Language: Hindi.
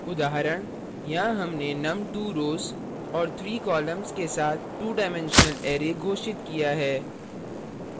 उदाहरण यहाँ हमने num 2 rows और 3 columns के साथ 2 डाइमेंशनल array घोषित किया है